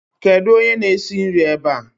Kedu onye na-esi nri ebe ạ?